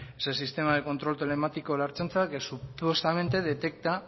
ese sistema de control telemático de la ertzaintza que supuestamente detecta